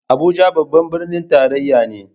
Abuja babban birnin tarayya ne.